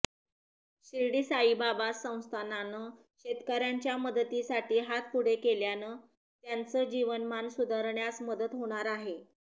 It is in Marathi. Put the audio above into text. शिर्डी साईबाबा संस्थानानं शेतकऱ्यांच्या मदतीसाठी हात पुढे केल्यानं त्यांचं जीवनमान सुधारण्यास मदत होणार आहे